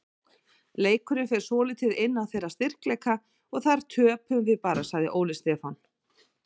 Leikurinn fer svolítið inn á þeirra styrkleika og þar töpum við bara, sagði Óli Stefán.